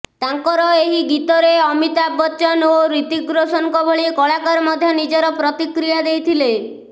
ତାଙ୍କର ଏହି ଗୀତରେ ଅମିତାଭ ବଚ୍ଚନ ଓ ଋତିକ ରୋଶନ ଭଳି କଳାକାର ମଧ୍ୟ ନିଜର ପ୍ରତିକ୍ରିୟା ଦେଇଥିଲେ